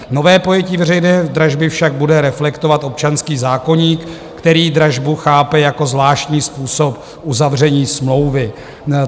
Nové pojetí veřejné dražby však bude reflektovat občanský zákoník, který dražbu chápe jako zvláštní způsob uzavření smlouvy.